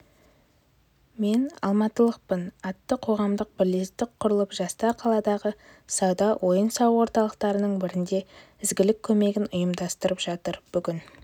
мен алматылықпын атты қоғамдық бірлестік құрылып жастар қаладағы сауда-ойын-сауық орталықтарының бірінде ізгілік көмегін ұйымдастырып жатыр бүгін